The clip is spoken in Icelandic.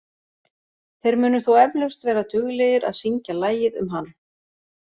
Þeir munu þó eflaust vera duglegir að syngja lagið um hann.